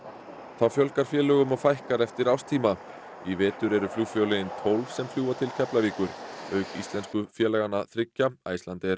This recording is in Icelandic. þá fjölgar félögum og fækkar eftir árstíma í vetur eru flugfélögin tólf sem fljúga til Keflavíkur auk íslensku félaganna þriggja Icelandair